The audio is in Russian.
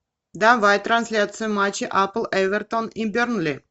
давай трансляцию матча апл эвертон и бернли